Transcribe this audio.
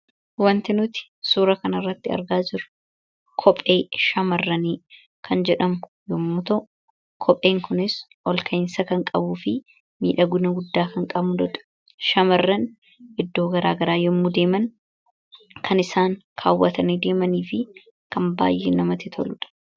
wantinuti suura kan arratti argaa jiru kophee shamarranii kan jedhamu yommuu ta'u kopheen kunis ol kainsa kan qabuu fi miidha guna guddaa kan qabudodha shamarran iddoo garaagaraa yommuu deeman kan isaan kaawwatanii deemanii fi kan baay'ee namati toluudha